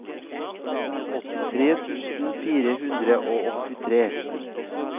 åttitre tusen fire hundre og åttitre